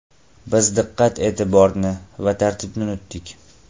Biz diqqat-e’tiborni va tartibni unutdik.